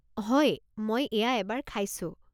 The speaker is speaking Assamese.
হয়, মই এয়া এবাৰ খাইছো।